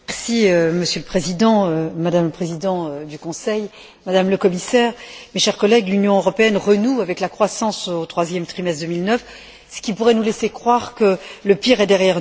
Monsieur le Président, Madame la Présidente du Conseil, Madame la Commissaire, mes chers collègues, l'Union européenne renoue avec la croissance au troisième trimestre 2009, ce qui pourrait nous laisser croire que le pire est derrière nous.